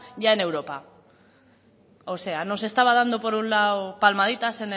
ya en europa o sea nos estaba dando por un lado palmaditas